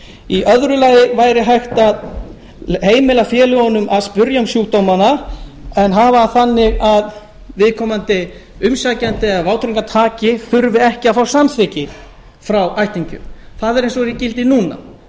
í öðru lagi væri hægt að heimila félögunum að spyrja um sjúkdómana en hafa það þannig að viðkomandi umsækjandi eða vátryggingartaki þurfi ekki að fá samþykki frá ættingjum það er eins og er í gildi núna